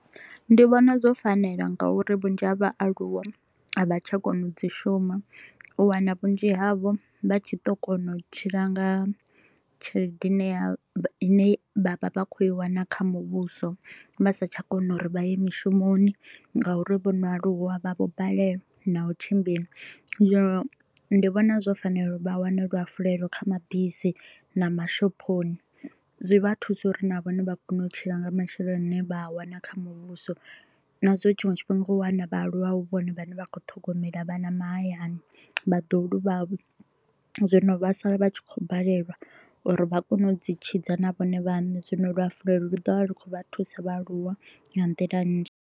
Ndi vhona zwo fanela nga u ri vhunzhi ha vhaaluwa a vha tsha kona u dzi shuma, u wana vhunzhi havho vha tshi to u kona u tshila nga tshelede ine ya ine vha vha vha kho u i wana kha muvhuso. Vha sa tsha kona u ri vha ye mishumoni nga u ri vho no aluwa, vha vho balelwa na u tshimbila. Zwino ndi vhona zwo fanela u ri vha wane luhafulelo kha mabisi na mashophoni. Zwi vha thuse u ri na vhone vha kone u tshila nga masheleni a ne vha a wana kha muvhuso na zwa u ri tshiṅwe tshifhinga u wana vhaaluwa hu vhone vhane vha kho u ṱhogomela vhana mahayani, vhaḓuhulu vhavho. Zwino vha sala vha tshi kho u balelwa u ri vha kone u dzi tshidza na vhone vhaṋe, zwino luhafulelo lu ḓo vha ḽu kho u vha thusa vhaaluwa nga nḓila nnzhi.